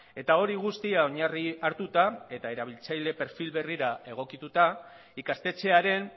eta hori guztia oinarri hartuta eta erabiltzaile perfil berrira egokituta ikastetxearen